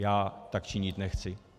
Já tak činit nechci.